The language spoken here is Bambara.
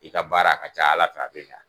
I ka baara a ka ca ala fɛ a be ɲa.